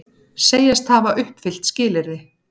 Segjast hafa uppfyllt skilyrði